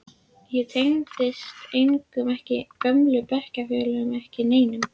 Ég tengdist engum, ekki gömlu bekkjarfélögunum, ekki neinum.